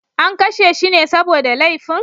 An kashe shi ne saboda laifin?